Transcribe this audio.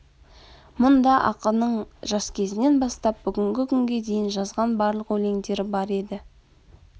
мұнда ақынның жас кезінен бастап бүгінгі күнге дейін жазған барлық өлеңдері бар еді